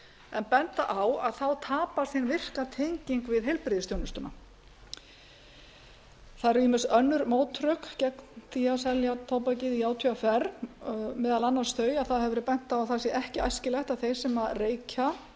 en benda á að þá tapast hin virka tenging við heilbrigðisþjónustuna það eru ýmis önnur mótrök gegn því á selja tóbakið í átvr meðal annars þau að það hefur verið bent á að það sé þrjú ekki æskilegt að þeir sem reykja